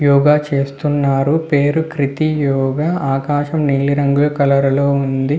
యోగా చేస్తున్నారు. పేరు కృతి యోగ. ఆకాశం నీలి రంగు కలర్ లో ఉంది.